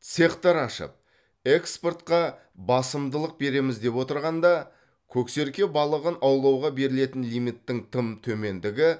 цехтар ашып экспортқа басымдылық береміз деп отырғанда көксерке балығын аулауға берілетін лимиттің тым төмендігі